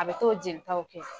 A bɛ t'o jelitaw kɛ.